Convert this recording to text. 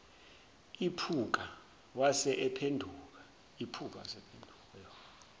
iphuka wase ephenduka